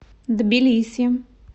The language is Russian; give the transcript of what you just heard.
тбилиси